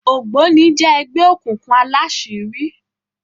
ògbóni jé ẹgbẹ òkùnkùn àlàṣiri.